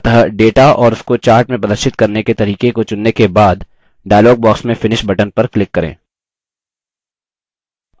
अतः data और उसको chart में प्रदर्शित करने के तरीके को चुनने के बाद dialog box में finish button पर click करें